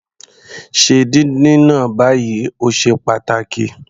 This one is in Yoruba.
Se díndín náà báyìí, o ṣe pàtàkì.